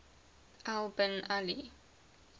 al bin ali